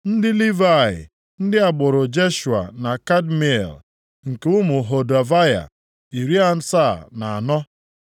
Ndị Livayị: Ndị agbụrụ Jeshua na Kadmiel (nke ụmụ Hodavaya), iri asaa na anọ (74).